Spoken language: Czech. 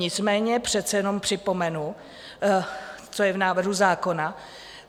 Nicméně přece jenom připomenu, co je v návrhu zákona.